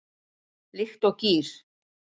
Líkt og gír